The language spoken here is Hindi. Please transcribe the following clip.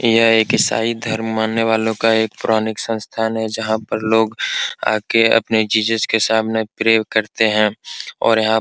यह एक ईसाई धर्म मानने वालों का एक पौराणिक संस्थान है जहां पर लोग आके अपने जीसस के सामने प्रे भी करते हैं और यहां --